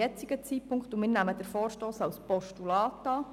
Wir nehmen den Vorstoss als Postulat an.